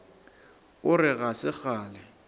o re ga se kgale